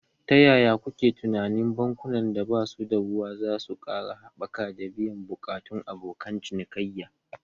Ta yaya kuke tunanin bankunan da ba su da ruwa za su ƙara haɓaka da biyan buƙatun abokan cinikayya?